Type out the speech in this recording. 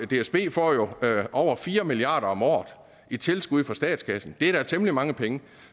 dsb får jo over fire milliard kroner om året i tilskud fra statskassen det er da temmelig mange penge